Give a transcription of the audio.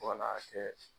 Wala kɛ